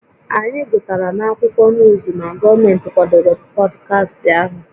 Anyị gụtara n'akwụkwọ nuuzu na gọọmenti kwadoro pọdkastị ahụ